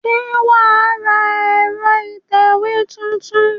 Ṣé wà á ra ẹ̀rọ ìtẹ̀wé tuntun?